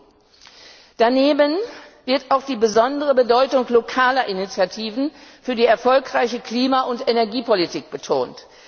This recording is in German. tun. Daneben wird auch die besondere Bedeutung lokaler Initiativen für die erfolgreiche Klima und Energiepolitik betont.